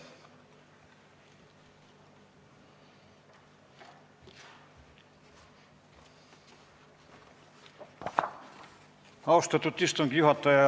Austatud istungi juhataja!